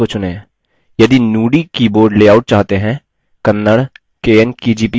यदि nudi keyboard layout चाहते हैं kannada – kn kgp पर click करें